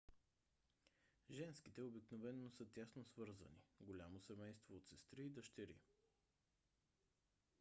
женските обикновено са тясно свързани голямо семейство от сестри и дъщери